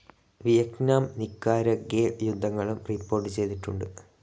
Vietnam Nicaragua യുദ്ധങ്ങളും report ചെയ്തിട്ടുണ്ട്.